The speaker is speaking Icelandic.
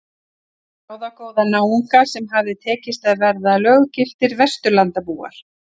Ráðagóða náunga sem hafði tekist að verða löggiltir Vesturlandabúar.